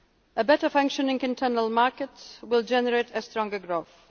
each other. A better functioning internal market will generate stronger